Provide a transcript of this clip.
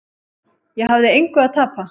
Ég hafði engu að tapa.